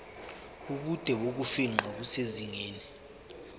ubude bokufingqa kusezingeni